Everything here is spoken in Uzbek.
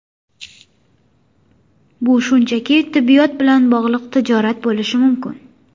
Bu shunchaki tibbiyot bilan bog‘liq tijorat bo‘lishi mumkin.